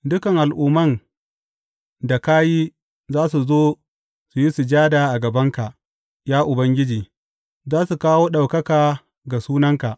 Dukan al’umman da ka yi za su zo su yi sujada a gabanka, ya Ubangiji; za su kawo ɗaukaka ga sunanka.